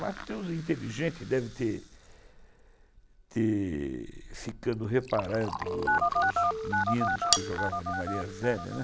Matheus é inteligente, deve ter ficando reparado os meninos que jogavam no Maria Zélia.